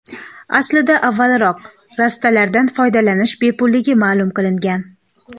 Aslida, avvalroq rastalardan foydalanish bepulligi ma’lum qilingan.